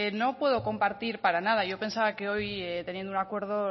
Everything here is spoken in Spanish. no puedo compartir para nada yo pensaba que hoy teniendo un acuerdo